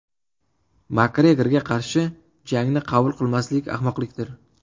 Makgregorga qarshi jangni qabul qilmaslik ahmoqlikdir.